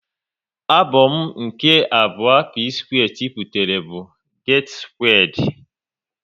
Abom nke abụọ P-square tiputere bụ "Get Squared"